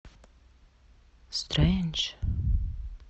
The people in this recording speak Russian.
стрэндж